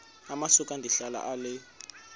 amasuka ndihlala ale